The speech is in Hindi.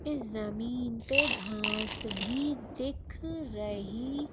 इस जमीन पे घास भी दिख रही --